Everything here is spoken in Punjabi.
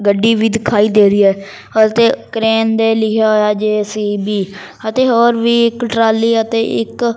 ਗੱਡੀ ਵੀ ਦਿਖਾਈ ਦੇ ਰਹੀ ਐ ਹਲਤੇ ਕਰੇਨ ਦੇ ਲਿਖਿਆ ਹੋਇਆ ਜੇ_ਸੀ_ਬੀ ਅਤੇ ਹੋਰ ਵੀ ਇੱਕ ਟਰਾਲੀ ਅਤੇ ਇੱਕ --